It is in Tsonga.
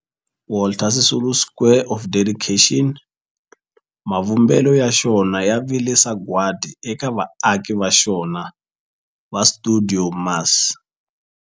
Walter Sisulu Square of Dedication, mavumbelo ya xona ya vile sagwadi eka vaaki va xona va stuidio MAS.